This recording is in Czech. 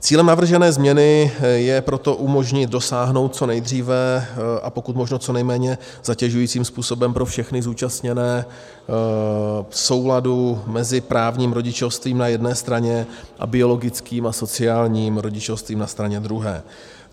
Cílem navržené změny je proto umožnit dosáhnout co nejdříve a pokud možno co nejméně zatěžujícím způsobem pro všechny zúčastněné souladu mezi právním rodičovstvím na jedné straně a biologickým a sociálním rodičovstvím na straně druhé.